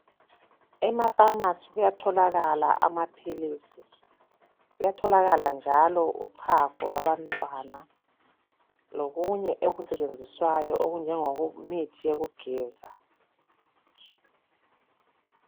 Ema"pharmarcy " kuyatholakala amaphilisi. Kuyatholakala njalo uchago lwabantana lokunye okusetshenziswayo okunjengemithi yokugeza